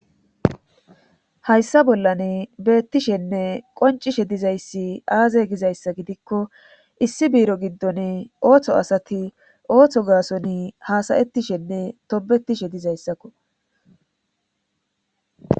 Hayssa bollane beettishenne qoncishe dizayssi aaze gizayssa gidikko issi biiro giddon ooththo asati ooththo gaason hasayettishenne tobetishe dizayssakko.